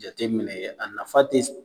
Jateminɛ a nafa tɛ